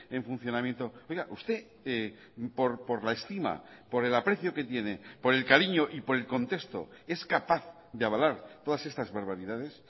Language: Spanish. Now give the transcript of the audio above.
en funcionamiento oiga usted por la estima por el aprecio que tiene por el cariño y por el contexto es capaz de avalar todas estas barbaridades